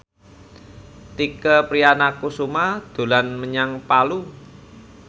Tike Priatnakusuma dolan menyang Palu